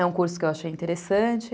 É um curso que eu achei interessante.